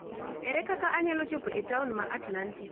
Ere kaka anyalo chopo e taon ma Atlantic?